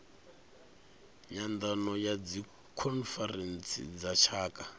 nyandano ya dzikhonferentsi dza tshaka